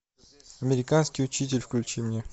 американский учитель включи мне